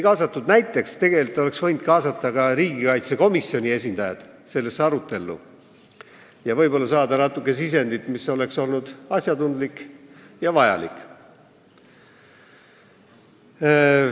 Näiteks oleks võinud sellesse arutellu kaasata riigikaitsekomisjoni esindajaid ning saada võib-olla asjatundlikku ja vajalikku sisendit.